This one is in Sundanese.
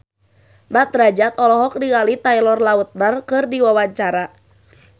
Mat Drajat olohok ningali Taylor Lautner keur diwawancara